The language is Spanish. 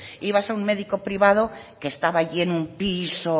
ibas a un médico privado que estaba allí en un piso